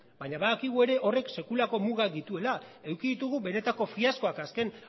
baina badakigu ere horrek sekulako mugak dituela eduki ditugu benetako fiaskoak azken